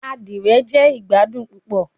Adire jẹ igbadun pupọ